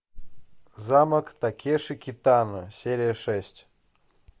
замок такеши китано серия шесть